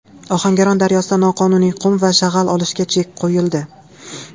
Ohangaron daryosida noqonuniy qum va shag‘al olishga chek qo‘yildi.